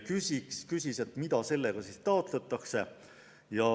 Ta küsis, mida sellega taotletakse.